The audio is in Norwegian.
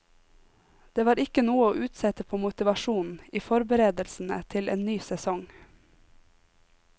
Det var ikke noe å utsette på motivasjonen i forberedelsene til en ny sesong.